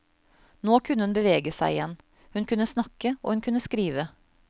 Nå kunne hun bevege seg igjen, hun kunne snakke og hun kunne skrive.